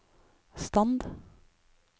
stand